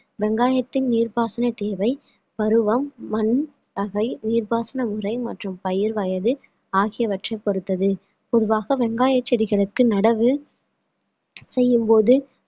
வெங்காயத்தின் நீர்ப்பாசன தேவை பருவம் மண் வகை உயிர்ப்பாசன உறை மற்றும் பயிர் வயது ஆகியவற்றைப் பொறுத்தது பொதுவாக வெங்காயச் செடிகளுக்கு நடவு செய்யும்போது